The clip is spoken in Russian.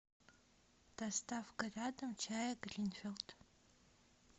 доставка рядом чая гринфилд